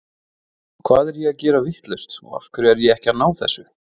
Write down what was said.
Hvað er ég að gera vitlaust og af hverju er ég ekki að ná þessu?